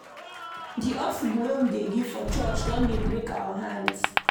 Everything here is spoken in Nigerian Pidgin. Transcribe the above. Di offering wey we dey give for church don dey break our hands.